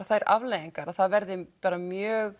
þær afleiðingar að það verði mjög